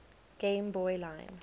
game boy line